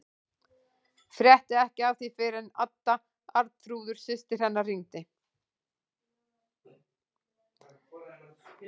Frétti ekki af því fyrr en Adda, Arnþrúður systir hennar, hringdi.